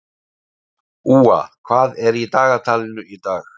Úa, hvað er í dagatalinu í dag?